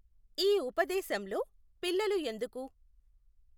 ఈ ఉపదేశంలో పిల్లలు ఎందుకు!